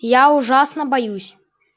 я ужасно боюсь